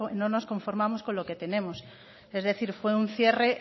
todos nos conformamos con lo que tenemos es decir fue un cierre